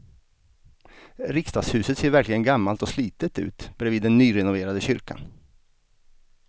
Riksdagshuset ser verkligen gammalt och slitet ut bredvid den nyrenoverade kyrkan.